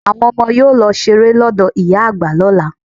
Àwọn ọmọ yóò lọ ṣeré lọ́dọ̀ ìyá àgbà lọla.